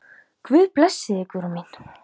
Guð blessi þig, Guðrún mín.